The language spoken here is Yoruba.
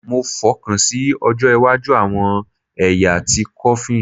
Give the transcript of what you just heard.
Mo fokansi ojo iwaju awọn ẹya ti coffin